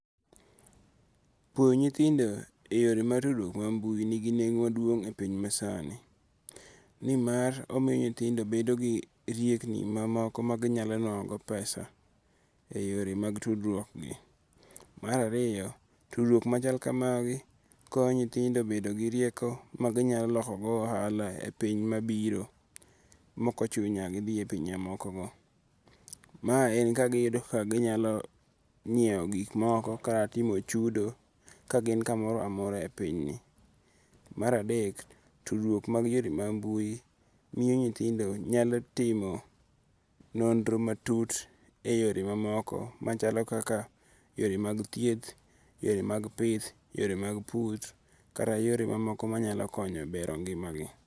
Puonjo nyithindo e yore mag mbui nigi nengo maduong' e piny masani nimar omiyo nyithindo bedo gi riekni mamoko ma ginyalo nuang'o go pesa e yore mag tudruokgi. Mar ariyo, tudruok machal kamagi konyo nyithindo bedo gi rieko ma ginyalo loko go ohala e piny mabiro maok ochuno ni nyaka gidhi e pinje moko ma. Ma giyudo kaka ginyalo nyiewo gik moko kata timo chudo ka gin kamoro amora e pinyni. Mar adek, tudruok mag yore mag mbui miyo nyithindo nyalo timo nonro matut eyore mamoko machalo kaka yore mag thieth, yore mag pith, yore mag pur kata yore mamoko manyalo konyo bero ngima gi.